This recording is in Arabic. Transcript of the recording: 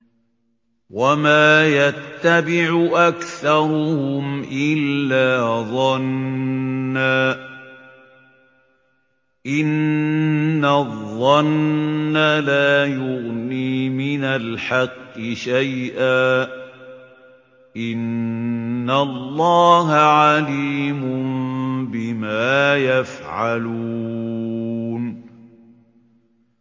وَمَا يَتَّبِعُ أَكْثَرُهُمْ إِلَّا ظَنًّا ۚ إِنَّ الظَّنَّ لَا يُغْنِي مِنَ الْحَقِّ شَيْئًا ۚ إِنَّ اللَّهَ عَلِيمٌ بِمَا يَفْعَلُونَ